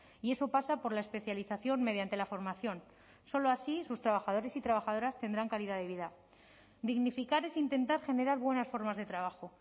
y eso pasa por la especialización mediante la formación solo así sus trabajadores y trabajadoras tendrán calidad de vida dignificar es intentar generar buenas formas de trabajo